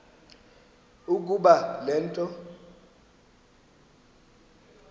ukuba le nto